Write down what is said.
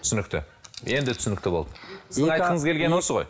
түсінікті енді түсінікті болды сіздің айтқыңыз келгені осы ғой